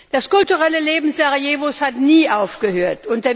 Das kulturelle Leben Sarajevos hat nie aufgehört.